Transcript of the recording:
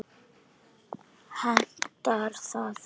Hentar það?